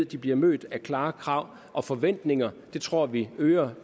de bliver mødt af klare krav og forventninger det tror vi øger